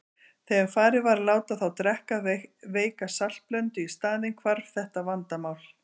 Þegar farið var að láta þá drekka veika saltblöndu í staðinn hvarf þetta vandamál.